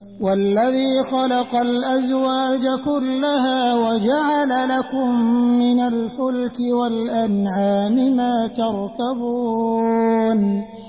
وَالَّذِي خَلَقَ الْأَزْوَاجَ كُلَّهَا وَجَعَلَ لَكُم مِّنَ الْفُلْكِ وَالْأَنْعَامِ مَا تَرْكَبُونَ